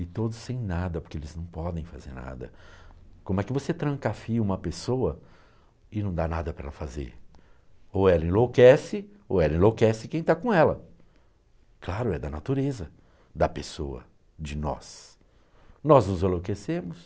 e todos sem nada porque eles não podem fazer nada, como é que você trancafia uma pessoa e não dá nada para ela fazer? Ou ela enlouquece ou ela enlouquece quem está com ela, claro, é da natureza da pessoa, de nós, nós nos enlouquecemos